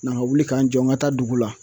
Na ŋa wuli ka n jɔ ŋa taa dugu la